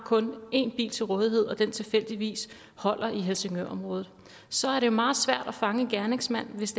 en bil til rådighed og den tilfældigvis holder i helsingørområdet så er det meget svært at fange en gerningsmand hvis